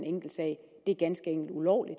enkeltsag det er ganske enkelt ulovligt